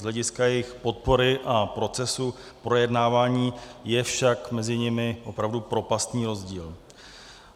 Z hlediska jejich podpory a procesu projednávání je však mezi nimi opravdu propastní rozdíl.